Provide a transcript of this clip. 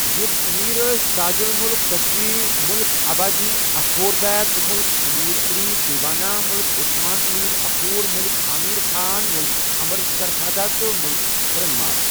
یٔم امیر ٲسۍ تاج الملک کٗچی، مٔلِک ابا جی اخور بیک، مٔلِک امیر علی دیوانہ، مٔلِک عثمان آمیر اخور، مٔلِک آمیر خان، مٔلِک عمر سرخا تہٕ مٔلِک ہِرن مار۔